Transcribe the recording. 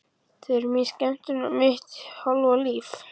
Þau eru mín skemmtun og mitt hálfa líf.